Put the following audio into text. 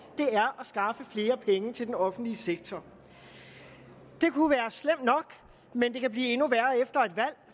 er at skaffe flere penge til den offentlige sektor det kunne være slemt nok men det kan blive endnu værre efter